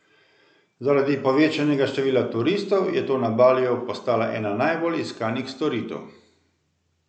Zaradi povečanega števila turistov je to na Baliju postala ena najbolj iskanih storitev.